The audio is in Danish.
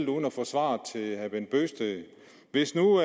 uden at få svar stillede herre bent bøgsted hvis nu